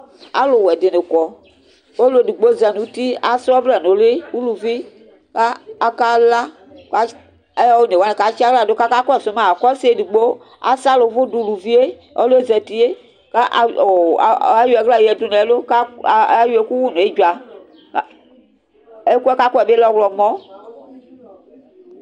alowɛ dini kɔ ɔlo edigbo za n'uti asɛ ɔvlɛ n'uli uluvi ko ɔka la ko one wani katsi ala do k'aka kɔsu ma ko ɔse edigbo asala òvò do uluvie ɔloɛ zatie ko ayɔ ala yadu no ɛlo ko ayɔ ɛku wu no edzua ɛkoɛ k'akɔɛ bi lɛ ɔwlɔmɔ